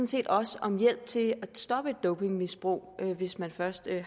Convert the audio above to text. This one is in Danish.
set også om hjælp til at stoppe et dopingmisbrug hvis man først er